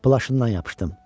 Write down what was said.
Plaşından yapışdım.